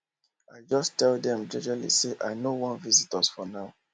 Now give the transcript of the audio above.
i jus tell dem jejely say i nor want visitors for now